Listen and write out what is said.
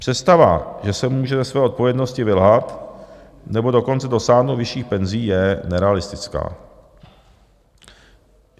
Představa, že se může ze své odpovědnosti vylhat, nebo dokonce dosáhnout vyšších penzí, je nerealistická.